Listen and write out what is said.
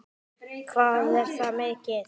Hvað er það mikið?